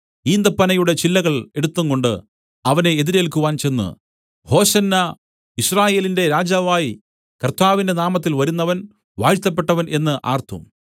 ഈന്തപ്പനയുടെ ചില്ലകൾ എടുത്തുംകൊണ്ട് അവനെ എതിരേൽക്കുവാൻ ചെന്ന് ഹോശന്നാ യിസ്രായേലിന്റെ രാജാവായി കർത്താവിന്റെ നാമത്തിൽ വരുന്നവൻ വാഴ്ത്തപ്പെട്ടവൻ എന്നു ആർത്തു